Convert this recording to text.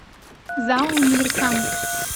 зао универсам